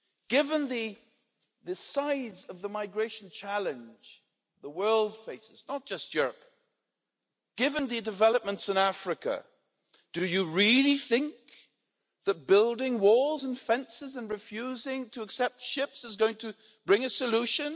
Given the size of the migration challenge the world faces, not just Europe, given the developments in Africa, do you really think that building walls and fences and refusing to accept ships is going to bring a solution?